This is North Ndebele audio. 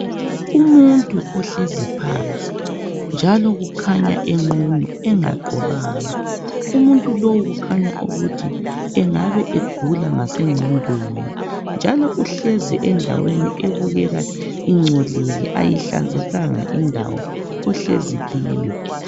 Umuntu ohlezi phansi njalo kukhanya enqunu enga gqokanga umuntu lowu kukhanya ukuba engabe egula ngasengqondweni njalo uhlezi endaweni ebukeka ingcolile ayihlanzekanga indawo ohlezikiyo